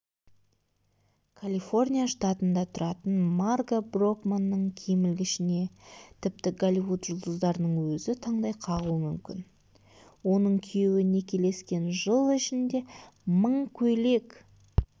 калифорния штатында тұратын марга брокманның киім ілгішіне тіпті голливуд жұлдыздарының өзі таңдай қағуы мүмкін оның күйеуі некелескен жыл ішінде мың көйлек